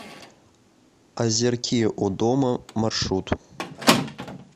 озерки у дома маршрут